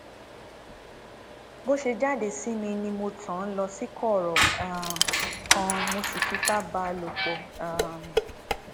bó ṣe jáde sí mi ni mo tàn án lọ sí kọrọ um kan mo sì fipá bá a lò pọ um